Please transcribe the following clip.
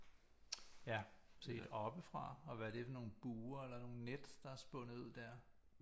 Ja set oppefra og hvad er det for nogle buer eller nogle net der er spundet ud der